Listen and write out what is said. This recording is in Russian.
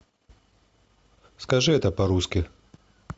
скажи это по русски